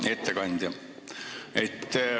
Hea ettekandja!